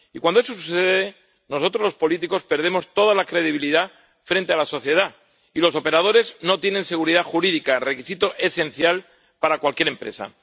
Y cuando eso sucede, nosotros los políticos perdemos toda la credibilidad frente a la sociedad, y los operadores no tienen seguridad jurídica, requisito esencial para cualquier empresa.